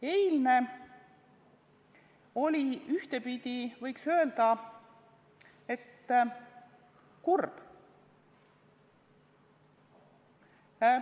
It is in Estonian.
Eilne oli ühtepidi, võiks öelda, kurb.